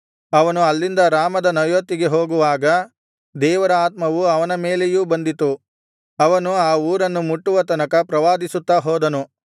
ಅವನು ಅಲ್ಲಿಂದ ರಾಮದ ನಯೋತಿಗೆ ಹೋಗುವಾಗ ದೇವರ ಆತ್ಮವು ಅವನ ಮೇಲೆಯೂ ಬಂದಿತು ಅವನು ಆ ಊರನ್ನು ಮುಟ್ಟುವ ತನಕ ಪ್ರವಾದಿಸುತ್ತಾ ಹೋದನು